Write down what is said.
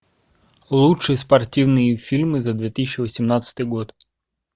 лучшие спортивные фильмы за две тысячи восемнадцатый год